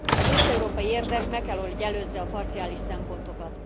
Az összeurópai érdek meg kell, hogy előzze a parciális szempontokat.